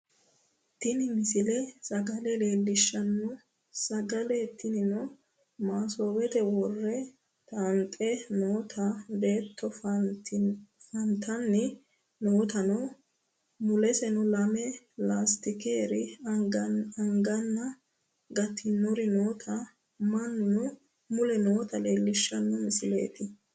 tini misile sagale leellishshanno sagale tinino masoowete worre t"ante noota beetto fantanni nootanna muleseno lame laastikere anganna gatinori noota mannuno mule noota leellishshanno misileeti